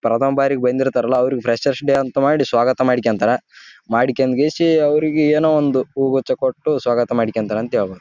ಇದು Netaji juniors freshers ಅಂತ ಐತಿ ನೋಡ್ರಿ ಇಲ್ಲಿ ಬೋರ್ಡ್ ಇದೊಂದು ಸ್ಕೂಲ್ ಕಾಲೇಜ್ ದು ಫಂಕ್ಷನ್ ಇರಬೇಕು.